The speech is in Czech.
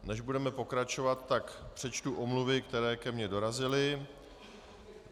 Než budeme pokračovat, tak přečtu omluvy, které ke mně dorazily.